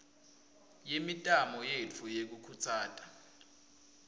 yemitamo yetfu yekukhutsata